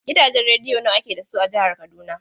Gidajen rediyo nawa ake da su a jihar Kaduna?